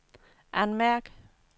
anmærk